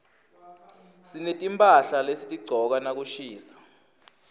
sinetimphahla lesitigcoka nakushisa